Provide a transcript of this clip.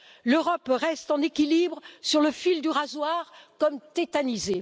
L'Europe reste en équilibre, sur le fil du rasoir, comme tétanisée.